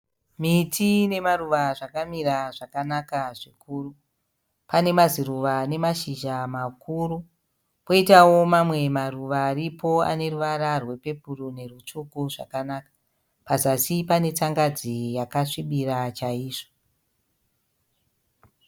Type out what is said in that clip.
Miti nemaruva zvakamira zvakanaka zvikuru. Pane maziruva anemashizha makuru poitawo mamwe maruva aripo aneruvara rwepepuru nerwutsvuku zvakanaka. Pazasi pane tsangadzi yakasvibira chaizvo.